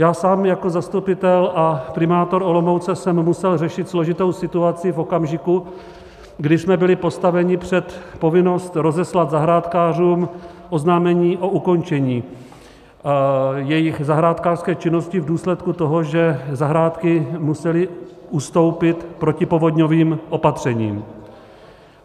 Já sám jako zastupitel a primátor Olomouce jsem musel řešit složitou situaci v okamžiku, kdy jsme byli postaveni před povinnost rozeslat zahrádkářům oznámení o ukončení jejich zahrádkářské činnosti v důsledku toho, že zahrádky musely ustoupit protipovodňovým opatřením.